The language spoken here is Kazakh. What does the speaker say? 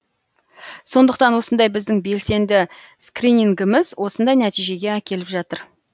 сондықтан осындай біздің белсенді скринингіміз осындай нәтижеге әкеліп жатыр